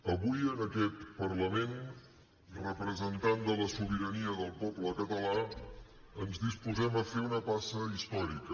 avui en aquest parlament representant de la sobirania del poble català ens disposem a fer una passa històrica